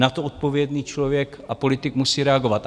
Na to odpovědný člověk a politik musí reagovat.